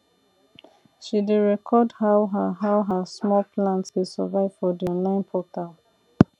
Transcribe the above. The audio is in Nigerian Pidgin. she dey record how her how her small plants dey survive for d online portal